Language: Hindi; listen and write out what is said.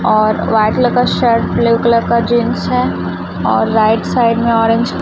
और वाइट कलर का शर्ट ब्लू कलर का जींस है और राइट साइड में ऑरेंज --